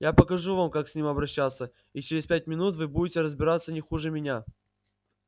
я покажу вам как с ним обращаться и через пять минут вы будете разбираться не хуже меня